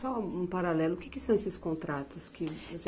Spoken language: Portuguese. Só um paralelo, o que que são esses contratos que?